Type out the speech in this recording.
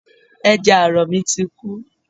Ẹja àrọ̀ mi ti kú